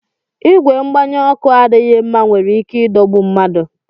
Ìgwè mgbanye ọkụ adịghị mma nwere ike idogbu mmadụ